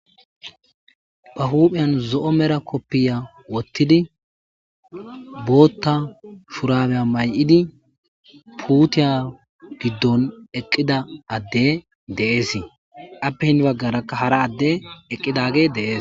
Ba huuphiyan zo7o mera koppiya wottidi bootta shurabeya may7idi puutiya giddon eqqida adde deesii appe hin baggarakka hara adde eqqidage dees